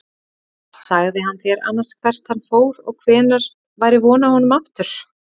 Sagði hann þér annars hvert hann fór og hvenær væri von á honum aftur?